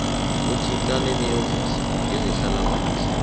uthintane neofisi yezehlalakuhle